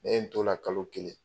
Ne ye t"o la kalo kelen.